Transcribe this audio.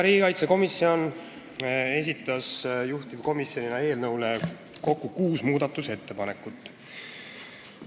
Riigikaitsekomisjon esitas juhtivkomisjonina eelnõu kohta kokku kuus muudatusettepanekut.